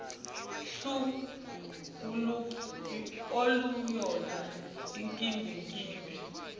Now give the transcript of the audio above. hlu aluyona inkimbinkimbi